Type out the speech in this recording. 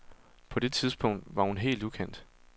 På det tidspunkt var hun helt ukendt.